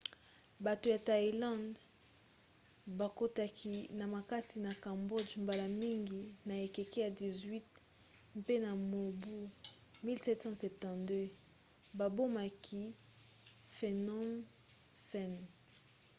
bato ya thaïlande bakotaki na makasi na cambodge mbala mingi na ekeke ya 18 mpe na mobu 1772 babomaki phnom phen